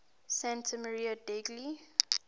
santa maria degli